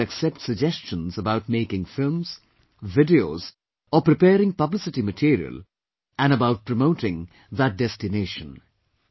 The government will accept suggestions about making films, videos or preparing publicity material and about promoting that destination